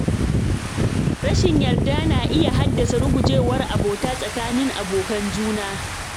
Rashin yarda na iya haddasa rugujewar abota tsakanin abokan juna.